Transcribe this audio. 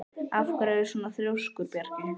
Af hverju ertu svona þrjóskur, Bjarki?